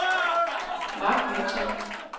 Marc Jønsson